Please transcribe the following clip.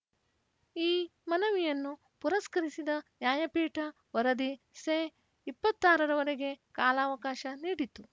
ಈ ಮನವಿಯನ್ನು ಪುರಸ್ಕರಿಸಿದ ನ್ಯಾಯಪೀಠ ವರದಿ ಸೆ ಇಪ್ಪತ್ತ್ ಆರರವರಗೆ ಕಾಲಾವಕಾಶ ನೀಡಿತು